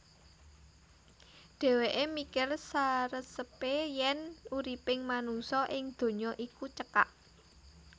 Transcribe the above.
Dhèwèké mikir saresepé yèn uriping manungsa ing donya iku cekak